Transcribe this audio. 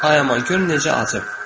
Ay aman, gör necə acıb.